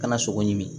Kana sogo ɲimi